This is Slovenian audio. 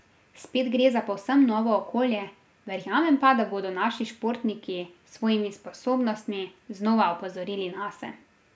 Spet gre za povsem novo okolje, verjamem pa, da bodo naši športniki s svojimi sposobnostmi znova opozorili nase.